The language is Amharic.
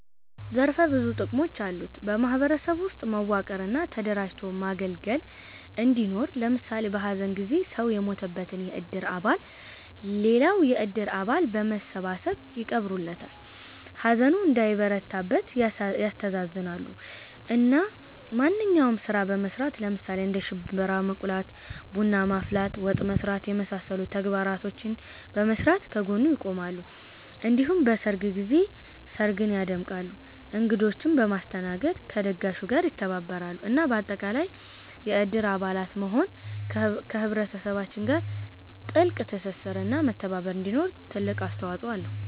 ዘርፈ ብዙ ጥቅሞች አሉት በ ማህበረሰብ ውስጥ መዋቀር እና ተደራጅቶ ማገልገል እንዲኖር ለምሳሌ በ ሀዘን ጊዜ ሰው የሞተበትን የእድር አባል ሌላው የእድር አባል በመሰባሰብ ይቀብሩለታል፣ ሀዘኑ እንዳይበረታበት ያስተሳዝናሉ፣ እና ማንኛውንም ስራ በመስራት ለምሳሌ እንደ ሽንብራ መቁላት፣ ቡና ማፍላት፣ ወጥ መስራት የመሳሰሉ ተግባራቶችን በመስራት ከ ጎኑ ይቆማሉ እንዲሁም በሰርግ ጊዜ ስርግን ያደምቃሉ እንግዶቺንም በማስተናገድ ከ ደጋሹ ጋር ይተባበራሉ እና በአጠቃላይ የእድር አባል መሆን ከ ህብረተሰባችን ጋር ትልቅ ትስስር እና መተባባር እንዲኖር ትልቅ አስተዋፅኦ አለው